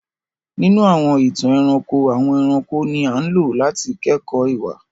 Ninu àwọn ìtan-ẹ̀ranko, àwọn ẹ̀ranko ni aǹlo làti kẹkọ iwa.